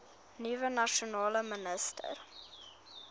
nuwe nasionale minister